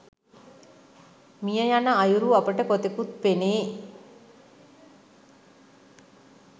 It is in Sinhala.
මිය යන අයුරු අපට කොතෙකුත් පෙනේ